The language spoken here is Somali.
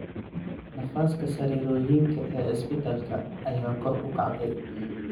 Nafaska sariirooyinka ee isbitaalka ayaa kor u kacday.